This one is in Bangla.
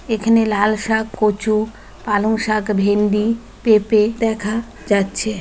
এখেনে লাল শাক কচু পালং শাক ভেন্ডি পেঁপে দেখা যাচ্ছে।